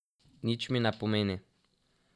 Nič mi ne pomeni.